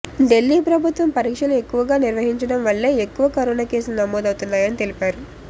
దిల్లీ ప్రభుత్వం పరీక్షలు ఎక్కువగా నిర్వహించడం వల్లే ఎక్కువ కరోనా కేసులు నమోదవుతున్నాయని తెలిపారు